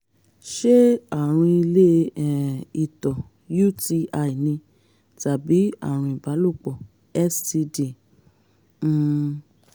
ṣé àrùn ilé um ìtọ̀ uti ni tàbí àrùn ìbálòpọ̀ std? um